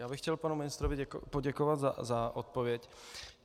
Já bych chtěl panu ministrovi poděkovat za odpověď.